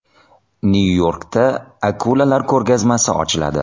Nyu-Yorkda akulalar ko‘rgazmasi ochiladi.